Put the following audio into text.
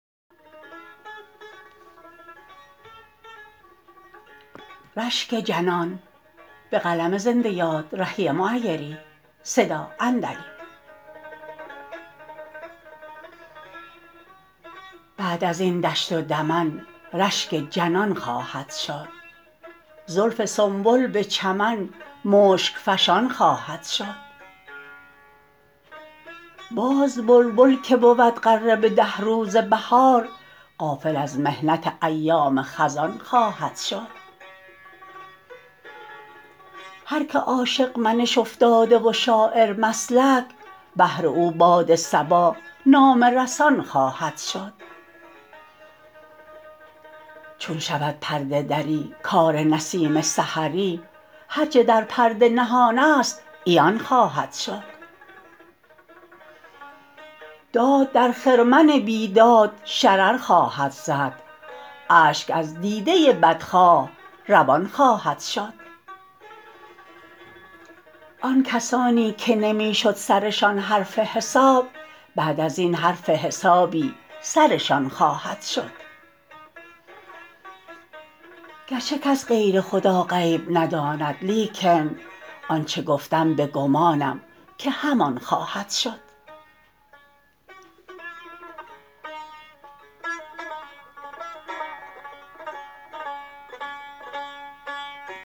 بعد از این دشت و دمن رشک جنان خواهد شد زلف سنبل به چمن مشک فشان خواهد شد باز بلبل که بود غره به ده روز بهار غافل از محنت ایام خزان خواهد شد هرکه عاشق منش افتاده و شاعرمسلک بهر او باد صبا نامه رسان خواهد شد چون شود پرده دری کار نسیم سحری هرچه در پرده نهان است عیان خواهد شد داد در خرمن بیداد شرر خواهد زد اشک از دیده بدخواه روان خواهد شد آن کسانی که نمی شد سرشان حرف حساب بعد از این حرف حسابی سرشان خواهد شد گرچه کس غیر خدا غیب نداند لیکن آنچه گفتم به گمانم که همان خواهد شد